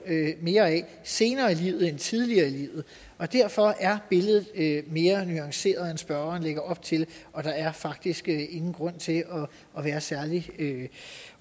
mere af det senere i livet end tidligt i livet derfor er billedet mere nuanceret end spørgeren lægger op til og der er faktisk ingen grund til at være særlig